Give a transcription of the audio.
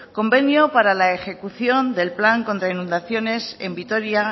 convenio para la ejecución del plan contra inundaciones en vitoria